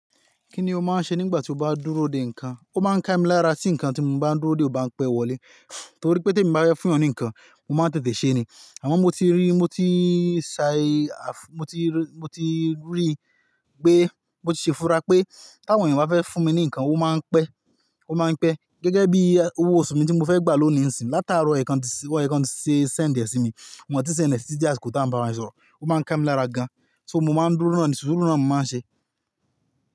Kí ni o máa ń ṣe nígbà tí o bá dúró de nǹkan? Ó máa ń ká mi lára tí nǹkan tí mo bá ń dúró de ò bá ń pẹ́ wọlé. Nítorí pé tí èmi bá fún èèyàn ní nǹkan, mo máa ń tètè ṣe ni. Àmọ́ mo ti rí, mo ti sai, mo ti rí pé, mo ti ṣe fún ra pé tí àwọn èèyàn bá fẹ́ fúnmi ní kan ó máa ń pẹ́ gẹ́gẹ́ bí owó oṣù mi tí mo fẹ́ gbà lónìí ń sin. Látaro ọ̀yẹ́ kan tí wọ́n ti sé, sẹ̀ dẹ̀ sí mi. Mo ti ṣendi tí ti dí àsìkò tàá bá wọn sọ̀rọ̀. Ó máa ń kàmí lára gan. Se mo máa ń dúró nù, suru náà ni mo máa ń ṣe.